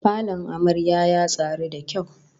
Falon amaryar ya tsari da kyau